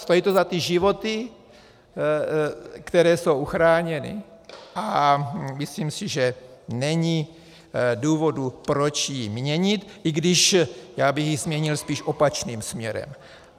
Stojí to za ty životy, které jsou uchráněny, a myslím si, že není důvodu, proč ji měnit, i když já bych ji změnil spíš opačným směrem.